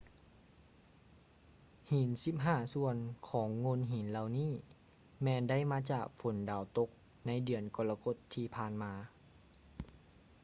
ຫີນສິບຫ້າສ່ວນຂອງໂງ່ນຫີນເຫລົ່ານີ້ແມ່ນໄດ້ມາຈາກຝົນດາວຕົກໃນເດືອນກໍລະກົດທີ່ຜ່ານມາ